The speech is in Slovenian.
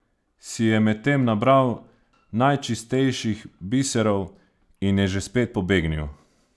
Si je medtem nabral najčistejših biserov in je že spet pobegnil?